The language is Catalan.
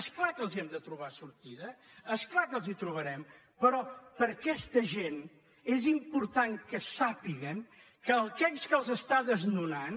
és clar que els hem de trobar sortida és clar que els la trobarem però aquesta gent és important que sàpiguen que aquell que els està desnonant